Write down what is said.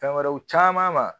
Fɛn wɛrɛw caman ma.